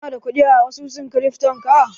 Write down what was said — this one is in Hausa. Ka na da ƙudi a asusun kirifton ka?